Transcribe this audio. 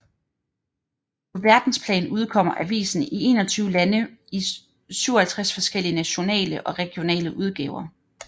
På verdensplan udkommer avisen i 21 lande i 57 forskellige nationale og regionale udgaver